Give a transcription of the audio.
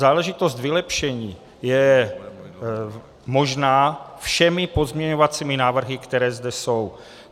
Záležitost vylepšení je možná všemi pozměňovacími návrhy, které zde jsou.